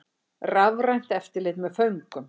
Rafrænt eftirlit með föngum